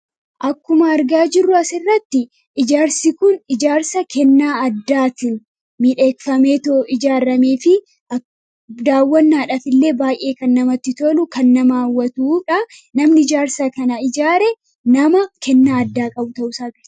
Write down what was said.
Akkuma argaa jirrua asirratti ijaarsi kun ijaarsa kennaa addaati . miidhakfameetoo ijaarramee fi daawwannaadhaf illee baay'ee kan namatti tolu kan nama hawatuudha namni ijaarsa kana ijaare nama kennaa addaa qabu ta'u qaba.